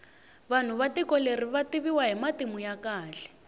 vanhu va tiko leri vativiwa hi matimu ya kahle